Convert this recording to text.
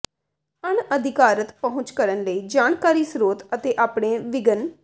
ਅਣਅਧਿਕਾਰਤ ਪਹੁੰਚ ਕਰਨ ਲਈ ਜਾਣਕਾਰੀ ਸਰੋਤ ਅਤੇ ਆਪਣੇ ਵਿਘਨ